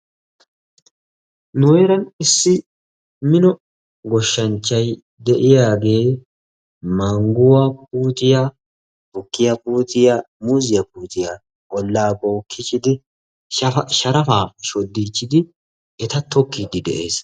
Nu heeraan issi mino goshshanchchay de'yaagee mangguwaa puuttiya, tukkiya puuttiya, muuziya puutiya olla bookkiichchidi sharafaa shoddichchidi eta tokkidi de'ees.